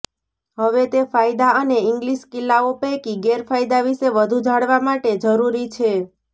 હવે તે ફાયદા અને ઇંગલિશ કિલ્લાઓ પૈકી ગેરફાયદા વિશે વધુ જાણવા માટે જરૂરી છે